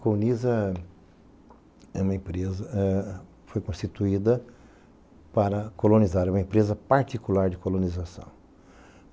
Colnisa é uma empresa, foi constituída para colonizar, é uma empresa particular de colonização.